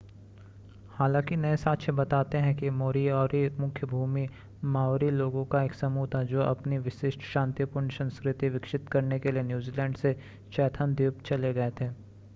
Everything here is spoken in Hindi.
हालांकि नए साक्ष्य बताते हैं कि मोरीओरी मुख्य भूमि माओरी लोगों का एक समूह था जो अपनी विशिष्ट शांतिपूर्ण संस्कृति विकसित करने के लिए न्यूज़ीलैंड से चैथम द्वीप चले गए थे